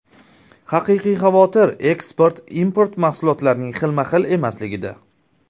Haqiqiy xavotir eksport-import mahsulotlarining xilma-xil emasligida.